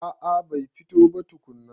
A a bai fito ba tukunna.